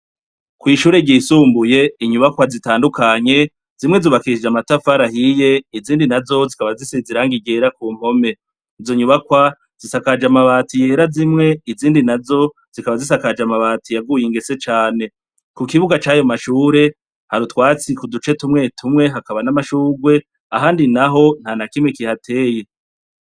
Kw’ishure ryisumbuye, inyubakwa zitandukanye zimwe zubakishije amatafari ahiye, izindi nazo zikaba zisize irangi ryera ku mpome. Izo nyubakwa zisakaje amabati yera zimwe, izindi nazo zikaba zisakaje amabatiy aguye ingese cane. Ku kibuga c’ayo mashure hari utwatsi ku duce tumwe tumwe, hakaba n’amashurwe ahandi naho nta na kimwe kihateye.